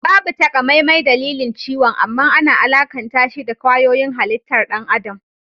Babu takamaimai dalilin ciwon amman ana alakantashi da kwayoyin halittar ɗan adam